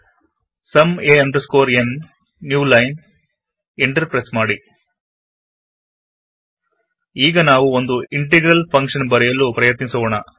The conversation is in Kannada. ಸುಮ್ a n new line enter press ಮಾಡಿ ಈಗ ನಾವು ಒಂದು ಇಂಟೆಗ್ರಲ್ ಫಂಕ್ಷನ್ ಬರೆಯಲು ಪ್ರಯತ್ನಿಸೋಣ